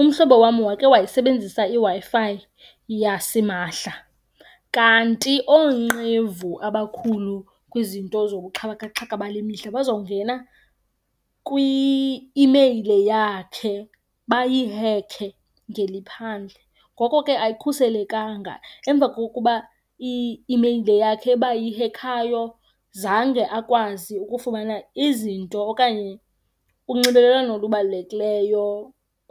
Umhlobo wam wake wayisebenzisa iWi-Fi yasimahla kanti oonqevu abakhulu kwizinto zobuxhakaxhaka bale mihla bazawungena kwi-imeyile yakhe bayihekhe ngeliphandle, ngoko ke ayikhuselekanga. Emva kokuba i-imeyile yakhe bayihekhayo zange akwazi ukufumana izinto okanye unxibelelwano olubalulekileyo